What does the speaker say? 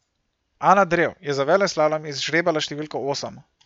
Ana Drev je za veleslalom izžrebala številko osem.